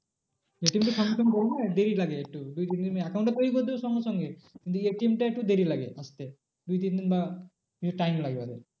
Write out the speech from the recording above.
ATM তো সঙ্গে সঙ্গে করবে না দেরি লাগে একটু দুই তিন দিন account টা তৈরী করে দেবে সঙ্গে সঙ্গে কিন্তু ATM টা একটু দেরি লাগে আসতে। দুই তিনদিন বা একটু time লাগে ওদের